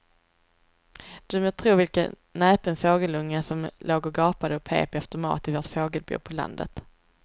Du må tro vilken näpen fågelunge som låg och gapade och pep efter mat i vårt fågelbo på landet.